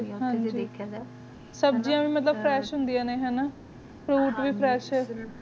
ਅਗਰ ਦੈਖ੍ਯਾ ਜਾਏ ਸਰਦੀਆਂ ਨੂ ਮਤਲਬ ਫ੍ਰੇਸ਼ ਹਨ ਦੀਆ ਨੇ ਹਾਨਾ